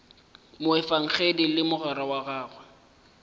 moefangedi le mogwera wa gagwe